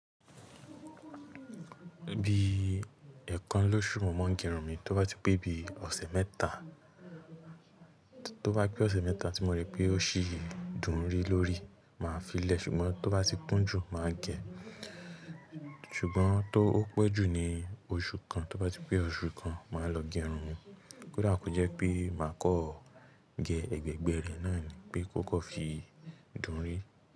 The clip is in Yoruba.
Bí ẹ̀kan lóṣù mo máa ń gé irun mi, tó bá ti pé bí ọ̀sẹ̀ mẹ́ta, tó bá pé ọ̀sẹ̀ mẹ́ta tí mo rí pé ó ṣì ń dùn rí lórí, màá fi lè, ṣùgbọ́n tó bá ti kún jù, màá gẹ̀ ẹ́. Ṣùgbọ́n tó pẹ́ jù ní oṣù kan, tó bá ti pé oṣù kan, màá lọ gé irun mi. Kódà kó jẹ́ pé màá kọ́ gẹ ẹgbẹgbẹ́ rẹ̀ náà ni pé kó kọ́ fi dùn rí.